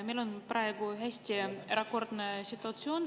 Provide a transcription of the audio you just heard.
Meil on praegu hästi erakordne situatsioon.